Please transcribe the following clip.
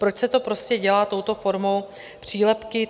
Proč se to prostě dělá touto formou přílepku?